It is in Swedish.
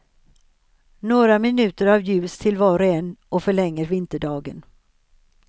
Några minuter av ljus till var och en och förlänger vinterdagen.